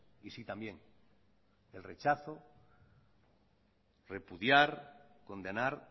y sí también el rechazo repudiar condenar